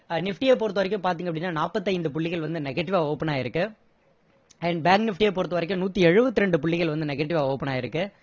nifty ய பொறுத்தவரைக்கும் பார்த்தீங்கன்னா நாற்பத்து ஐந்து புள்ளிகள் வந்து negative வா open ஆகியிருக்கு and bank nifty ய பொறுத்தவரைக்கும் நூத்தி ஏழுபத்து இரண்டு புள்ளிகள் negative வா open ஆகியிருக்கு